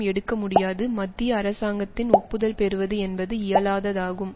எடுக்க முடியாது மத்திய அரசாங்கத்தின் ஒப்புதல் பெறுவது என்பது இயலாததாகும்